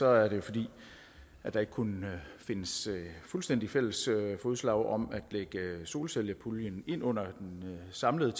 er det fordi der ikke kunne findes fuldstændig fælles fodslag om at lægge solcellepuljen ind under den samlede